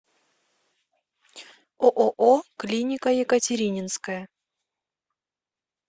ооо клиника екатерининская